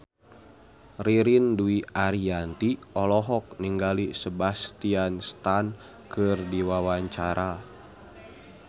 Ririn Dwi Ariyanti olohok ningali Sebastian Stan keur diwawancara